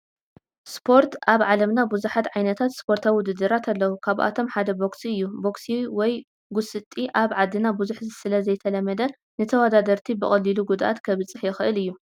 ስፖርት፡- ኣብ ዓለምና ብዙሓት ዓይነታት ስፖርታዊ ውድድራት ኣለው፡፡ ካብኣቶም ሓደ ቦክሲ እዩ፡፡ ቦክሲ ወይ ውን ጉሲጢት ኣብ ዓድና ብዙሕ ስለዘይተለመደ ንተወዳደርቲ ብቐሊሉ ጉድኣት ከብፅሕ ይኽእል እዩ፡፡